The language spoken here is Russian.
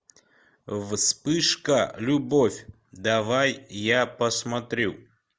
вспышка любовь давай я посмотрю